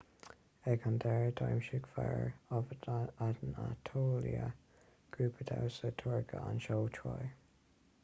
ag an deireadh dhamhsaigh fire of anatolia grúpa damhsa turcach an seó troy